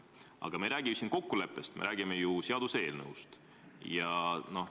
Aga me ei räägi ju siin kokkuleppest, me räägime seaduseelnõust.